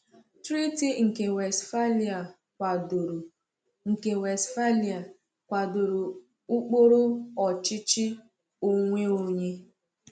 Treaty nke Westphalia kwadoro nke Westphalia kwadoro ụkpụrụ ọchịchị onwe onye.